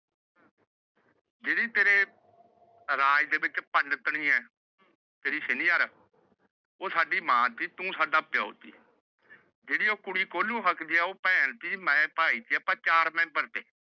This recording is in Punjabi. ਰਾਜ ਦੇ ਵਿੱਚ। ਉਹ ਸਾਡੀ ਮਾਂ ਸੀ ਤੂੰ ਸਾਡਾ ਪਿਓ ਸੀ। ਜਿਹੜੀ ਉਹ ਕੁੜੀ ਕੋਹਲੂ ਹੱਕਦੀ ਏ। ਉਹ ਭੈਣ ਸੀ ਤੇ ਮੈ ਭਾਈ ਸੀ। ਆਪਾ ਚਾਰ ਮੇਂਬਰ ਸੀ ਘਰ ਦੇ।